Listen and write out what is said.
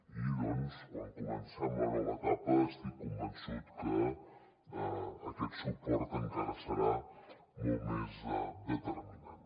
i doncs quan comencem la nova etapa estic convençut que aquest suport encara serà molt més determinant